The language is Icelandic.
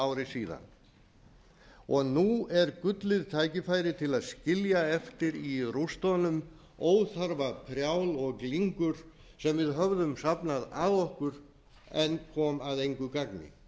ári síðan nú er gullið tækifæri til að skilja eftir í rústunum óþarfa prjál og glingur sem við höfðum safnað að okkur en kom að engu gagni